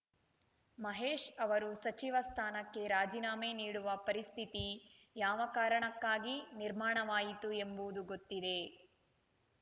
ಮಹೇಶ್‌ ಅವರು ಸಚಿವ ಸ್ಥಾನಕ್ಕೆ ರಾಜೀನಾಮೆ ನೀಡುವ ಪರಿಸ್ಥಿತಿ ಯಾವ ಕಾರಣಕ್ಕಾಗಿ ನಿರ್ಮಾಣವಾಯಿತು ಎಂಬುದು ಗೊತ್ತಿದೆ